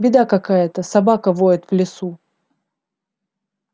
беда какая-то собака воет в лесу